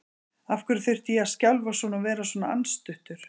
Af hverju þurfti ég að skjálfa svona og vera svona andstuttur?